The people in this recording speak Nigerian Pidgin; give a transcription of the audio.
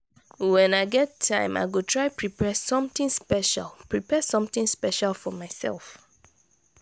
wen i get time i go try prepare something special prepare something special for myself.